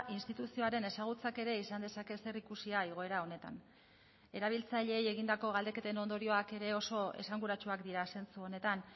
instituzioaren ezagutzak ere izan dezake zerikusia igoera honetan erabiltzaileei egindako galdeketen ondorioak ere oso esanguratsuak dira zentzu honetan